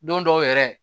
Don dɔw yɛrɛ